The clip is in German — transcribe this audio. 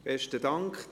Besten Dank.